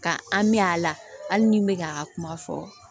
Ka an mɛ a la hali ni n bɛ k'a kuma fɔ